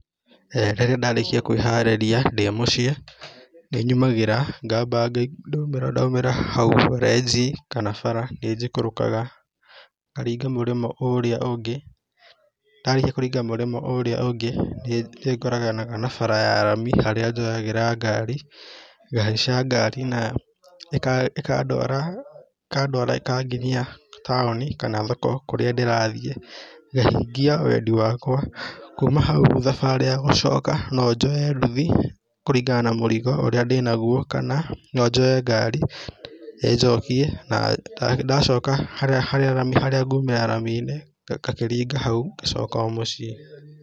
Rĩrĩa ndarĩkia kwĩharĩria ndĩ mũciĩ, nĩ nyumagĩra, ngamba ndaumĩra hau renji kana bara, nĩ njikũrũkaga, ngaringa mũrĩmo ũria ũngĩ, ndarĩkia kũringa mũrĩmo ũrĩa ũngĩ, nĩ ngoranaga na barabara ya rami, harĩa njoyaga ngari, ngahaica ngari, ĩkandwara ĩkanginyia taũni, kana thoko kũrĩa ndĩrathiĩ, ngahingia wendi wakwa, kuma hau thabarĩ ya gũcoka, no njoye nduthi kũringana na mũrigo ũrĩa ndĩnaguo, kana no njoye ngari, ĩnjokie, na ndacoka harĩa ngumĩra rami-inĩ, ngakĩringa hau, ngacoka o mũciĩ